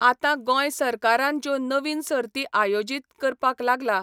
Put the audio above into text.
आतां गोंय सरकारान ज्यो नवीन सर्ती आयोजीत करपाक लागला